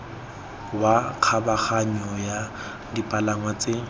wa kgabaganyo wa dipalangwa tse